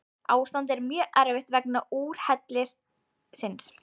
Ástandið er mjög erfitt vegna úrhellisins